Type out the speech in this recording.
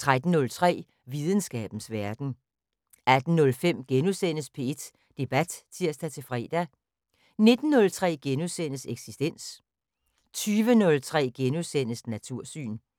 13:03: Videnskabens Verden 18:05: P1 Debat *(tir-fre) 19:03: Eksistens * 20:03: Natursyn *